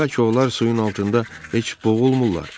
Bəlkə onlar suyun altında heç boğulmurlar?